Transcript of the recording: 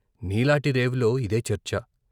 నీలాటి రేవులో ఇదే చర్చ.